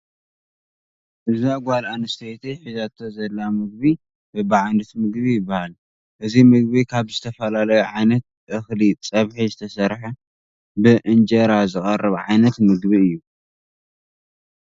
እዛ ጓል ኣነስተይቲ ሒዛቶ ዘላ ምግቡ በቢዓይነቱ ምግቢ ይባሃል። እዚ ምግቢ ካብ ዝተፈላለዩ ዓይነት እክሊ ፀብሒ ዝተሰርሓ ብእምጀራ ዝቀርብ ዓይነት ምግቢ እዩ።